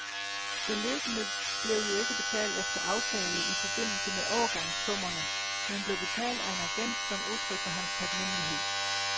Beløbene blev jo ikke betalt efter aftale i forbindelse med overgangssummerne, men blev betalt af en agent som udtryk for hans taknemmelighed.